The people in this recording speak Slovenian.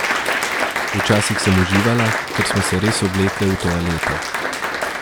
Včasih sem uživala, ker smo se res oblekle v toalete.